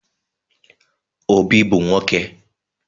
Obi bu nwoke